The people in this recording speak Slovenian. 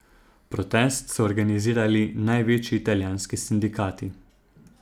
Protest so organizirali največji italijanski sindikati.